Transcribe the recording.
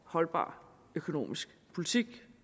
holdbar økonomisk politik